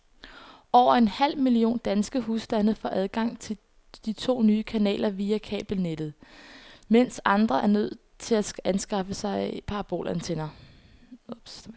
Over en halv million danske husstande får adgang til de to nye kanaler via kabelnettet, mens andre er nødt til at anskaffe sig parabolantenner.